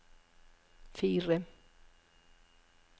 fire